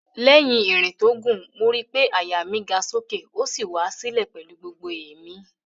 Lẹ́yìn ìrìn tó gùn, mo ri pé àyà mi ga sókè ó sì wá sílẹ̀ pẹ̀lú gbogbo èémí